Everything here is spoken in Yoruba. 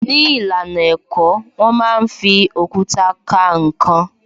Ní ìlànà ẹ̀kọ́, wón máa ń fi òkúta ka ǹkan